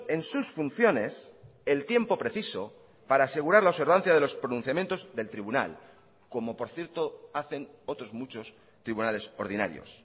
en sus funciones el tiempo preciso para asegurar la observancia de los pronunciamientos del tribunal como por cierto hacen otros muchos tribunales ordinarios